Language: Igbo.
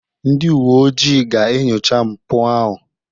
Ndị uwe ojii ga-enyocha mpụ ahụ.